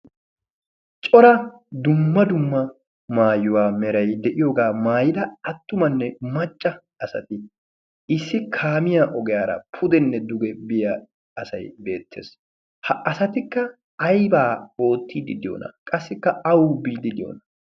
cora dumma dumma maayuwaa meray de'iyoogaa maayida attumanne macca asati issi kaamiya ogeyaara pudenne duge biya asay beettees. ha asatikka aybaa oottiiddi diyoona? qassikka awu biiddi diyoona?